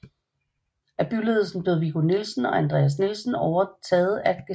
Af byledelsen blev Viggo Nielsen og Andreas Nielsen taget at Gestapo